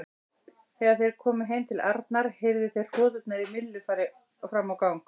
Þegar þeir komu heim til Arnar heyrðu þeir hroturnar í Millu fram á gang.